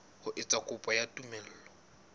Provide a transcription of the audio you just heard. ho etsa kopo ya tumello